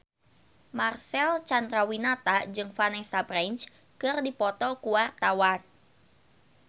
Marcel Chandrawinata jeung Vanessa Branch keur dipoto ku wartawan